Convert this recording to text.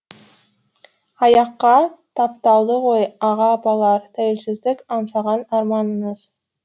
аяққа тапталды ғой аға апалар тәуелсіздік аңсаған арманыңыз